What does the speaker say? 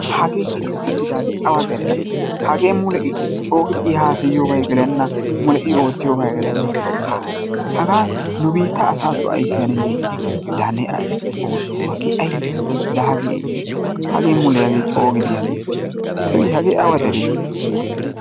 Hagee hinin uttidaagee awa dere asee? Hagee mule I coogidi I haasayiyobay gelenna, mule I oottiyobay gelenna. Hagaa nu biitta asatton ayssi hanennee? Laa xoosso ne ashsha. Laa hagee aybee? Hagee mule hagee coogidi hagee awa deree I?